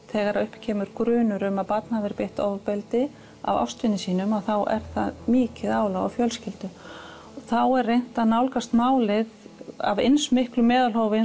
þegar upp kemur grunur um að barn hafi verið beitt ofbeldi af ástvini sínum er það mikið álag á fjölskyldu og þá er reynt að nálgast málið af eins miklu meðalhófi